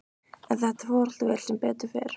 En þetta fór allt vel, sem betur fer.